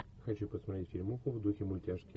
хочу посмотреть фильмуху в духе мультяшки